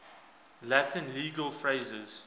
latin legal phrases